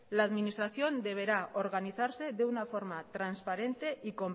la administración deberá organizarse de una forma transparente